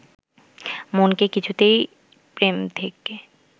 মনকে কিছুতেই প্রেম থেকে